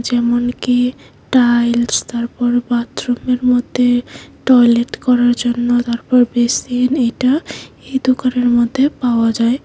যেমনকি টাইলস তারপর বাথরুমের মধ্যে টয়লেট করার জন্য তারপর বেসিন এটা এ দোকানের মধ্যে পাওয়া যায়।